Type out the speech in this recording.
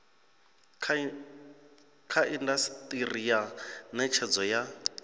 kha indasiteri ya netshedzo ya